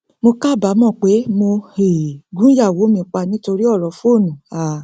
mo kábàámọ pé mo um gun ìyàwó mi pa nítorí ọrọ fóònù um